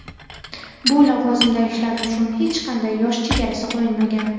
Bu lavozimda ishlash uchun hech qanday yosh chegarasi qo‘yilmagan.